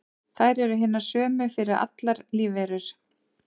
þær eru hinar sömu fyrir allar lífverur